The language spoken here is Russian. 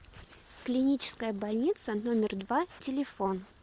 клиническая больница номер два телефон